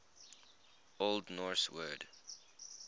old norse word